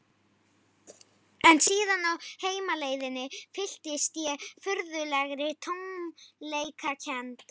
En síðan á heimleiðinni fylltist ég furðulegri tómleikakennd.